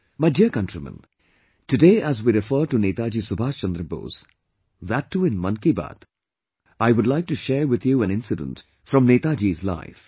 My dear countrymen, today as we refer to Netaji Subhash Chandra Bose, that too in 'Mann Ki Baat', I would like to share with you an incident from Netaji's life